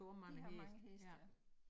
De har mange heste ja